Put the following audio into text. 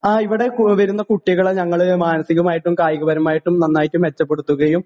ആ ഇവിടെ കൂ വരുന്ന കുട്ടികളെ ഞങ്ങള് മാനസികമായിട്ടും കായികപരമായിട്ടും നന്നായിട്ട് മെച്ചപ്പെടുത്തുകയും